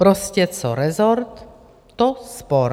Prostě co rezort, to spor.